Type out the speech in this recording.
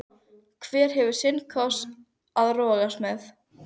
Hver hefur sinn kross að rogast með.